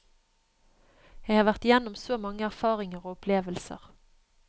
Jeg har vært igjennom så mange erfaringer og opplevelser.